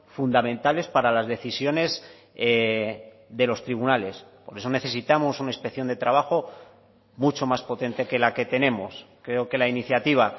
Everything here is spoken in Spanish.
fundamentales para las decisiones de los tribunales por eso necesitamos una inspección de trabajo mucho más potente que la que tenemos creo que la iniciativa